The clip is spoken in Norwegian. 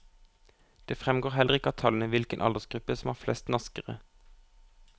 Det fremgår heller ikke av tallene hvilken aldersgruppe som har flest naskere.